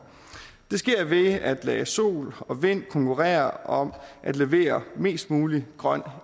det skete ved at lade sol og vind konkurrere om at levere mest mulig grøn